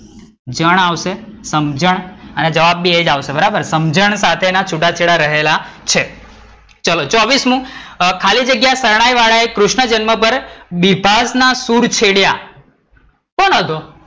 જણ આવશે સમજણ અને જવાબ પણ એ જ આવશે. બરાબર સમજણ સાથે ના છૂટાછેડા રહેલા છે ચલો ચોવીસમુ ખાલી જગ્યા શરણાઈવાળાએ કૃષ્ણજન્મ પર બિભાસના સુર છેડ્યા. કોણ હતું?